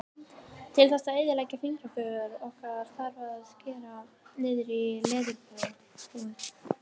Til þess að eyðileggja fingraför okkar þarf að skera niður í leðurhúð.